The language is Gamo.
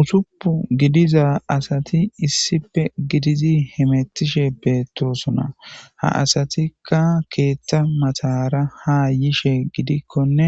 Usuppu gidiza asati issipe gidizi hemettishe beettosona ha asatikka keethta matara ha yishe gidikkonne